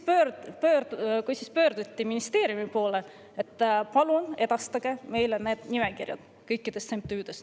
Pöörduti ministeeriumi poole, et palun edastage meile nimekiri kõikidest MTÜ-dest.